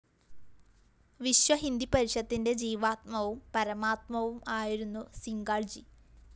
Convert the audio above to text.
വിശ്വഹിന്ദു പരിഷത്തിന്റെ ജീവാത്മാവും പരമാത്മാവും ആയിരുന്നു സിംഗാള്‍ജി